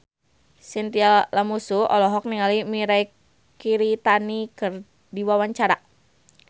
Chintya Lamusu olohok ningali Mirei Kiritani keur diwawancara